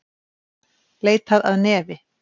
Leitað að nefi